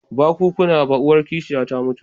Ba kukana ba, uwar kishiya ta mutu